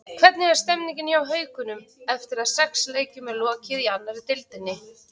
Hvernig er stemmingin hjá Haukunum eftir að sex leikjum er lokið í annarri deildinni?